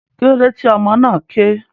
Kílódé tí ọmọ náà ké?